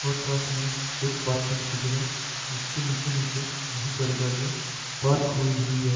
और साथ में एक पार्किंग की जगह जिसके नीचे नीचे बहोत सारी गाड़िया पार्क होई हुई हैं।